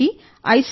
అప్పుడు వారికి ఐ